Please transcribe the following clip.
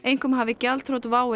einkum hafi gjaldþrot WOW